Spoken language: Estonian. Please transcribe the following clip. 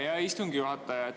Aitäh, hea istungi juhataja!